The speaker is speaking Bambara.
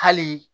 Hali